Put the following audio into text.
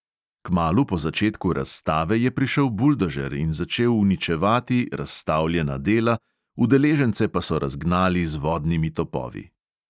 Kmalu po začetku razstave je prišel buldožer in začel uničevati razstavljena dela, udeležence pa so razgnali z vodnimi topovi.